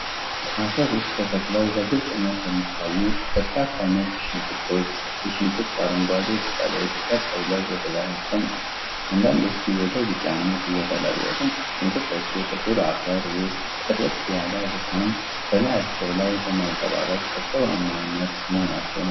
አፈር ውስጥ ተተክለው በግልጽነት የሚታዩ በርካታ ነጭ ሽንኩርቶች፣ የሽንኩርቶቹ አረንጓዴ ቅጠሎች ቀጥ ብለው ወደ ላይ ቆመዋል፤ አንዳንዶቹ ወደ ቢጫነት እየተለወጡ ነው። ሽንኩርቶቹ ጥቁር አፈር ውስጥ ጥርት ያለ ብርሃን በላያቸው ላይ በማንጸባረቅ እርጥበታማ መሆናቸውን ያሳያል።